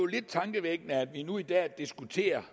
lidt tankevækkende at vi nu i dag diskuterer